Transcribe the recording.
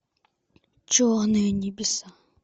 черные небеса